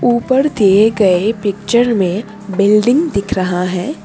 ऊपर दिए गए पिक्चर में बिल्डिंग दिख रहा है।